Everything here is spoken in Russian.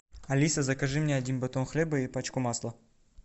алиса закажи мне один батон хлеба и пачку масла